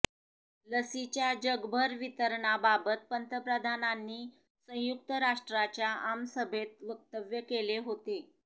लसीच्याजगभर वितरणाबाबत पंतप्रधानांनी संयुक्त राष्ट्रांच्या आमसभेत वक्तव्य केले होते